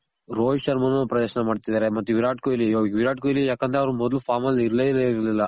ರೋಹಿತ್ ಶರ್ಮ ನು ಪ್ರದರ್ಶನ ಮಾಡ್ತಿದಾರೆ. ಮತ್ತೆ ವಿರಾಟ್ ಕೊಹ್ಲಿ ವಿರಾಟ್ ಕೊಹ್ಲಿ ಯಾಕಂದ್ರೆಅವ್ರು ಮೊದ್ಲು farm ಅಲ್ ಇರ್ಲೇ ಇರ್ಲಿಲ್ಲ.